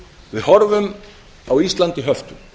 við horfum á ísland í höftum